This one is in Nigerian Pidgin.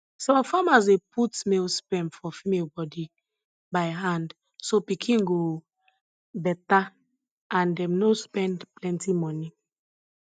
some farmers dey put male sperm for female body by hand so pikin go better and dem no spend plenty money